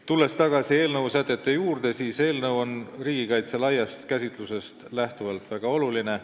Tulles tagasi eelnõu sätete juurde, ütlen, et eelnõu on riigikaitse laiast käsitlusest lähtuvalt väga oluline.